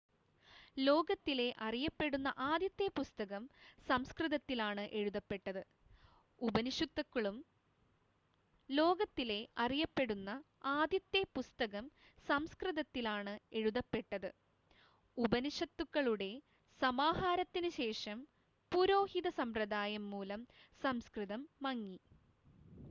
ലോകത്തിലെ അറിയപ്പെടുന്ന ആദ്യത്തെ പുസ്തകം സംസ്‌കൃതത്തിലാണ് എഴുതപ്പെട്ടത് ഉപനിഷത്തുക്കളുടെ സമാഹാരത്തിന് ശേഷം പുരോഹിത സമ്പ്രദായം മൂലം സംസ്‌കൃതം മങ്ങി